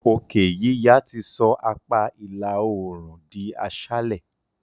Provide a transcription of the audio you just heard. òkè yíya ti sọ apá ìlà oòrùn di aṣálẹ.